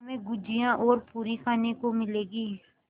हमें गुझिया और पूरी खाने को मिलेंगी